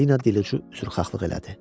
Selina dilucu üzrxahlıq elədi.